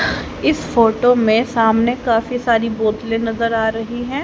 इस फोटो में सामने काफी सारी बोतले नजर आ रही हैं।